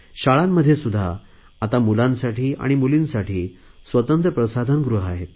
शाळांमध्ये सुध्दा आता मुलांसाठी आणि मुलींसाठी स्वतंत्र प्रसाधन गृहे आहेत